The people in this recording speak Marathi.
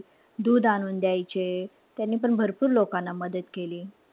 दूध आणून द्यायचे. त्यांनीपण भरपूर लोकांना मदत केली.